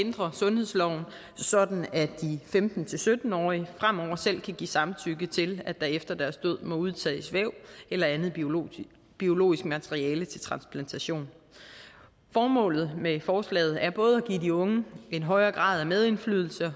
ændre sundhedsloven sådan at de femten til sytten årige fremover selv kan give samtykke til at der efter deres død må udtages væv eller andet biologisk biologisk materiale til transplantation formålet med forslaget er både at give de unge en højere grad af medindflydelse og